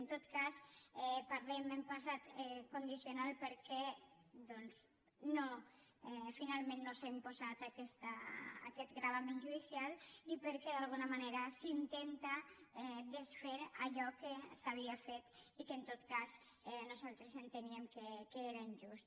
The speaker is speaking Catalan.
en tot cas parlem en passat condicional perquè doncs finalment no s’ha imposat aquest gravamen judicial i perquè d’alguna manera s’intenta desfer allò que s’havia i que nosaltres enteníem que era injust